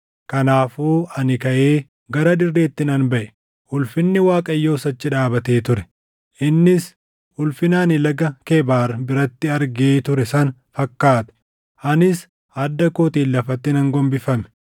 Kanaafuu ani kaʼee gara dirreetti nan baʼe. Ulfinni Waaqayyoos achi dhaabatee ture; innis ulfina ani Laga Kebaar biratti argee ture sana fakkaata; anis adda kootiin lafatti nan gombifame.